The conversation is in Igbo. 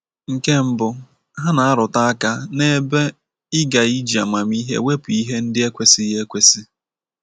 Nke mbụ, ha na - arụtụ aka n’ebe ị ga-iji amamihe wepụ ihe ndi ekwesighi ekwesi.